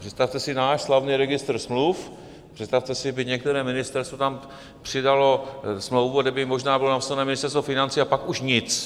Představte si náš slavný registr smluv, představte si, kdyby některé ministerstvo tam přidalo smlouvu, kde by možná bylo napsáno Ministerstvo financí a pak už nic.